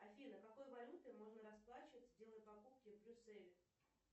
афина какой валютой можно расплачиваться делая покупки в брюсселе